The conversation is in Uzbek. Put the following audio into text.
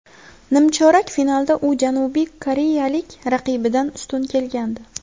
Nimchorak finalda u janubiy koreyalik raqibidan ustun kelgandi.